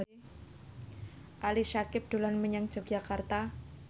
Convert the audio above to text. Ali Syakieb dolan menyang Yogyakarta